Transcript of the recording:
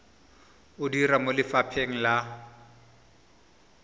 o dira mo lefapheng la